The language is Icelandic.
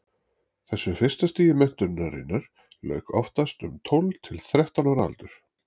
þessu fyrsta stigi menntunarinnar lauk oftast um tólf til þrettán ára aldur